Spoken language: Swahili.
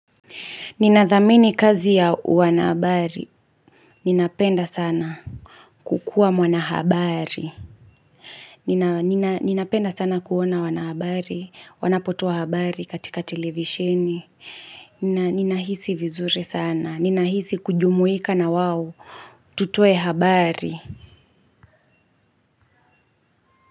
Ninathamini kazi ya wana habari. Ninapenda sana kukuwa mwana habari. Ninapenda sana kuona wanahabari. Wanapotoa habari katika televisheni. Ninahisi vizuri sana. Ninahisi kujumuika na wao. Tutoe habari.